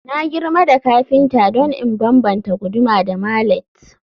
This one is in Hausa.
Na girma da kafinta don in bambanta guduma da mallet